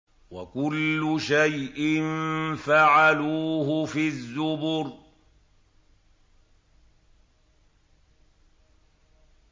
وَكُلُّ شَيْءٍ فَعَلُوهُ فِي الزُّبُرِ